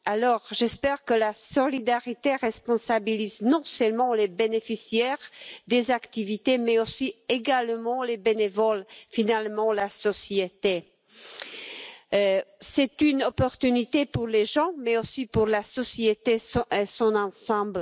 Je souhaite que la solidarité responsabilise non seulement les bénéficiaires des activités, mais également les bénévoles et, finalement, la société. C'est une chance à saisir pour les citoyens, mais aussi pour la société dans son ensemble.